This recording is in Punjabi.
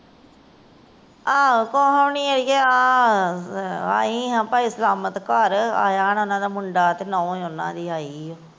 ਆ ਕੁਛ ਨਹੀਂ ਏ ਆਯੀ ਆ ਆਈ ਆ ਭਾਈ ਸਲਾਮਤ ਘਰ ਆਯਾ ਓਹਨਾ ਦਾ ਮੁੰਡਾ ਤੇ ਨੂੰਹ ਓਹਨਾ ਦੀ ਆਇ ਏ।